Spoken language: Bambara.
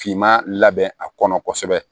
Finma labɛn a kɔnɔ kosɛbɛ